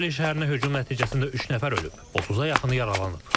Dovrapoliya şəhərinə hücum nəticəsində üç nəfər ölüb, 30-a yaxını yaralanıb.